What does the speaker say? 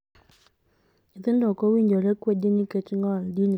Nyithindo ok owinjore kwedi nikech ng'ol, din, kata pinygi.